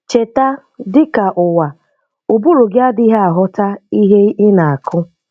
Cheta, dị ka Ụwa, ụbụrụ gị adịghị aghọta ihe ị na-akụ.